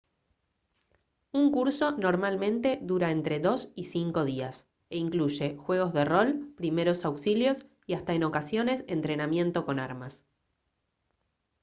un curso normalmente dura entre 2 y 5 días e incluye juegos de rol primeros auxilios y hasta en ocasiones entrenamiento con armas